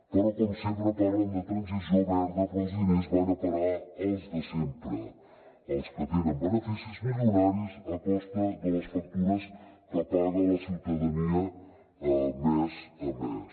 però com sempre parlen de transició verda però els diners van a parar als de sempre als que tenen beneficis milionaris a costa de les factures que paga la ciutadania mes a mes